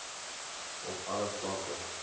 op alle vlakke